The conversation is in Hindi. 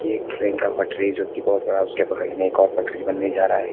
ये एक ट्रेन का पटरी है जो कि बहुत बड़ा उसके बगल में एक और पटरी बनने जा रहा है।